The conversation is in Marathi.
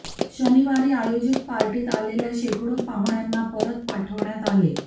शनिवारी आयोजित पार्टीत आलेल्या शेकडो पाहुण्यांना परत पाठवण्यात आले